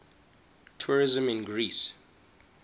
tourism in greece